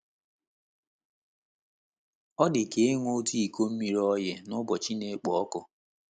Ọ dị ka ịṅụ otu iko mmiri oyi n’ụbọchị na-ekpo ọkụ.